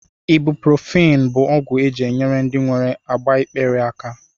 Ibuprofen bụ ọgwụ e ji enyere ndị nwere agbaikpere aka